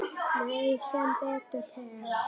Nei, sem betur fer.